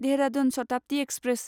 Dehradun Shatabdi express